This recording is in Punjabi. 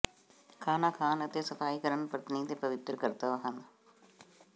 ਖਾਣਾ ਖਾਣ ਅਤੇ ਸਫ਼ਾਈ ਕਰਨੀ ਪਤਨੀ ਦੇ ਪਵਿੱਤਰ ਕਰਤੱਵ ਹਨ